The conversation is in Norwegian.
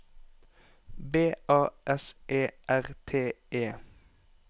B A S E R T E